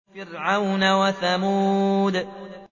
فِرْعَوْنَ وَثَمُودَ